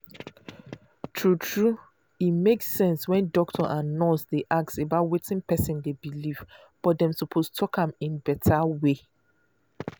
true true e make sense when doctor and nurse dey ask about wetin person dey believe but dem suppose talk am in better way.